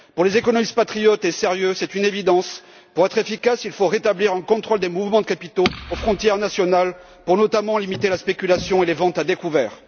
Pour les économistes patriotes et sérieux, c'est une évidence pour être efficace, il faut rétablir un contrôle des mouvements de capitaux aux frontières nationales afin notamment de limiter la spéculation et les ventes à découvert.